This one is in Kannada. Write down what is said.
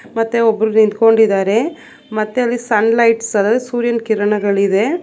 ಮತ್ತೆ ಒಬ್ಬರು ನಿಂತ್ಕೊಂಡಿದ್ದಾರೆ ಮತ್ತೆ ಅಲ್ಲಿ ಸನ್ ಲೈಟ್ಸ್ ಸೂರ್ಯನ ಕಿರಣಗಳು ಇವೆ.